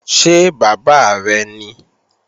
Ṣé bàbá rẹ̀ ní?